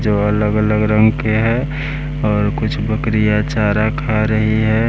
जो अलग-अलग रंग के है और कुछ बकरियाँ चारा खा रही है।